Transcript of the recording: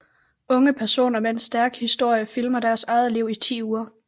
Unge personer med en stærk historie filmer deres eget liv i 10 uger